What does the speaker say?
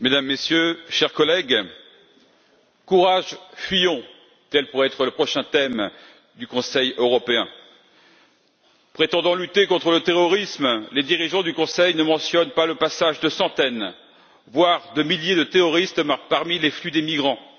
Madame la Présidente, Mesdames, Messieurs, chers collègues, courage fuyons! Tel pourrait être le prochain thème du Conseil européen. Prétendant lutter contre le terrorisme, les dirigeants du Conseil ne mentionnent pas le passage de centaines, voire de milliers de terroristes parmi les flux des migrants.